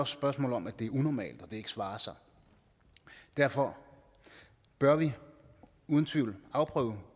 spørgsmål om at det er unormalt og at det ikke svarer sig derfor bør vi uden tvivl afprøve